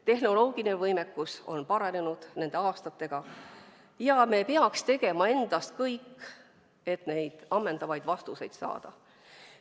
Tehnoloogiline võimekus on nende aastatega paranenud ja me peaksime tegema kõik, et neid ammendavaid vastuseid saada.